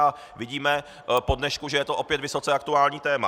A vidíme po dnešku, že je to opět vysoce aktuální téma.